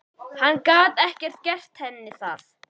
Hann gat ekki gert henni það.